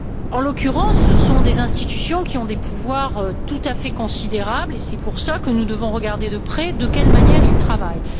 En l'occurrence, ce sont des institutions qui ont des pouvoirs tout à fait considérables, et c'est pour cela que nous devons regarder de près de quelle manière elles travaillent.